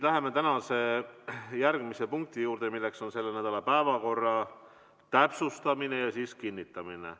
Läheme tänase järgmise punkti juurde, milleks on selle nädala päevakorra täpsustamine ja siis kinnitamine.